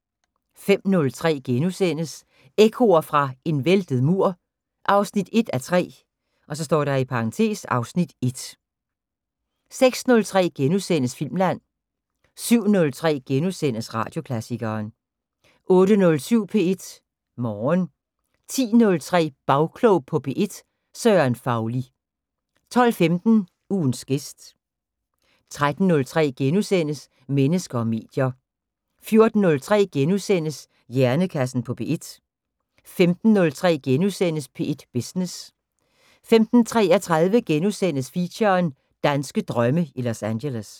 05:03: Ekkoer fra en væltet mur 1:3 (Afs. 1)* 06:03: Filmland * 07:03: Radioklassikeren * 08:07: P1 Morgen 10:03: Bagklog på P1: Søren Fauli 12:15: Ugens gæst 13:03: Mennesker og medier * 14:03: Hjernekassen på P1 * 15:03: P1 Business * 15:33: Feature: Danske drømme i Los Angeles *